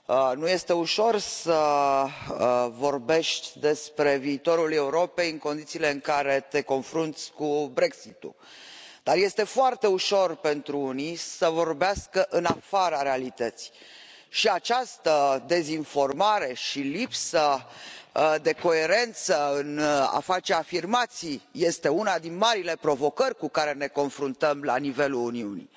Nu este ușor să vorbești despre viitorul Europei, în condițiile în care te confrunți cu Brexitul, dar este foarte ușor pentru unii să vorbească în afara realității și această dezinformare și lipsa de coerență în a face afirmații este una din marile provocări cu care ne confruntăm la nivelul Uniunii.